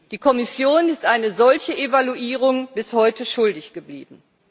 Die Kommission ist eine solche Evaluierung bis heute schuldig geblieben.